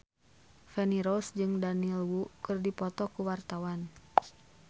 Feni Rose jeung Daniel Wu keur dipoto ku wartawan